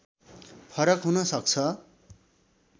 फरक हुन सक्छ